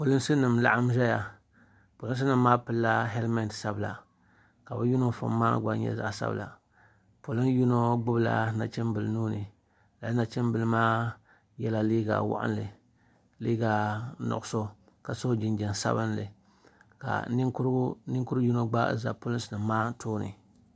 Polinsi nima n laɣim ʒɛya polinsi nima maa pilila helimenti sabila ka yino gbibi la Nachimbila nuuni lala nachimbila maa yela liiga waɣinli liiga nuɣuso ka so jinjiɛm sabinli ka ninkuri yino gba za polinsi maa tooni.